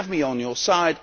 You have me on your side.